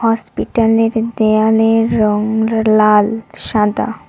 হসপিটালের দেয়ালের রং র লাল সাদা।